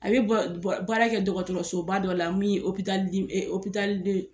A bɛ bɔ bɔ baara kɛ dɔgɔtɔrɔsoba dɔ la min ye de.